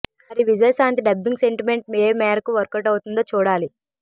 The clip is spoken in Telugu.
మరి విజయశాంతి డబ్బింగ్ సెంటిమెంట్ ఏ మేరకు వర్క్ అవుట్ అవుతుందో చూడాలి